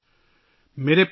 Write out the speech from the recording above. نئی دلّی ،27 فروری /